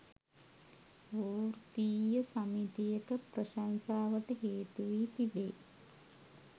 වෘත්තීය සමිතියක ප්‍රශංසාවට හේතු වී තිබේ.